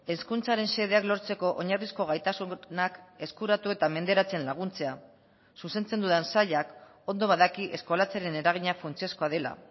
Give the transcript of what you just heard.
hezkuntzaren xedeak lortzeko oinarrizko gaitasunak eskuratu eta menderatzen laguntzea zuzentzen dudan sailak ondo badaki eskolatzearen eragina funtsezkoa dela